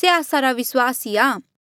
से आस्सा रा विस्वास ही आ